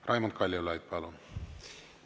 Raimond Kaljulaid, palun!